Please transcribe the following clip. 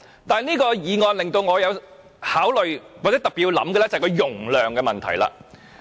但此項議案令我特別仔細考慮的是容量的問題。